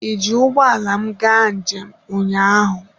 Ịji ụgbọala m gaa njem ụnyaahụ?